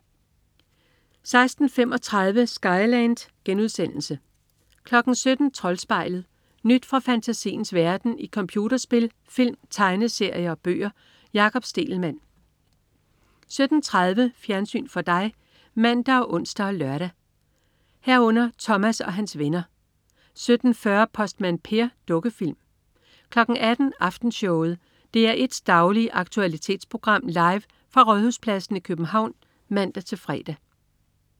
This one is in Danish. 16.35 Skyland* 17.00 Troldspejlet. Nyt fra fantasiens verden i computerspil, film, tegneserier og bøger. Jakob Stegelmann 17.30 Fjernsyn for dig (man og ons og lør) 17.30 Thomas og hans venner 17.40 Postmand Per. Dukkefilm 18.00 Aftenshowet. DR1's daglige aktualitetsprogram, live fra Rådhuspladsen i København (man-fre)